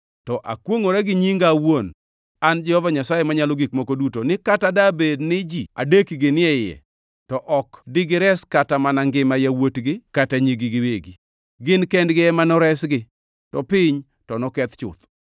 to akwongʼora gi Nyinga awuon an Jehova Nyasaye Manyalo Gik Moko Duto ni kata dabed ni ji adekgi ni e iye, to ok digires kata mana ngima yawuotgi kata nyigi giwegi. Gin kendgi ema noresgi, to piny to noketh chuth.